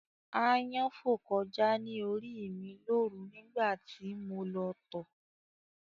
Ááyán fò kọjá ní orí ì mi lóru nígbà tí mo lọ tọ̀